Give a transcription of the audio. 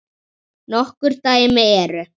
Nokkur dæmi eru